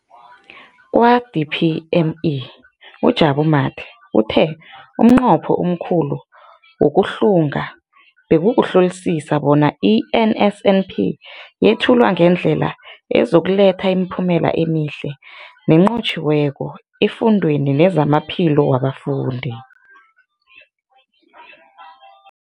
Kwa-DPME, uJabu Mathe, uthe umnqopho omkhulu wokuhlunga bekukuhlolisisa bona i-NSNP yethulwa ngendlela ezokuletha imiphumela emihle nenqotjhiweko efundweni nezamaphilo wabafundi.